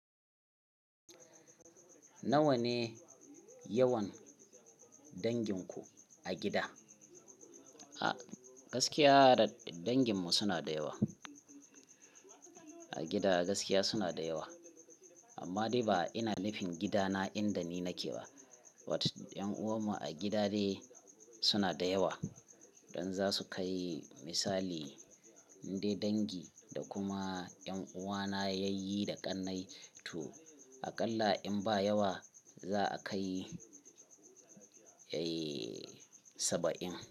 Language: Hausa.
Nawa ne yawan dangin ku a gida? A gaskiya danginmu suna da yawa. A gida a gaskiya suna da yawa, amma dai ba ina nufin gidana inda ni nake ba. Wat yan'uwan mu a gida ne suna da yawa don za su kai misali dai dangi da kuma 'yan uwana yayyi da ƙannai to aƙalla in ba yawa za a kai, eh, saba'in.